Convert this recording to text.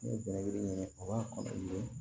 N'i ye bɛnɛ yiri ɲini o y'a kɔn ye